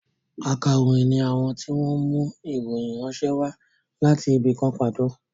Ákàròyìn ni àwọn tí wọn mú ìròyìn ránṣẹ́ wá láti ibì kan pàtó